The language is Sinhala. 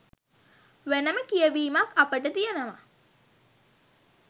වෙනම කියවීමක් අපට තියෙනව.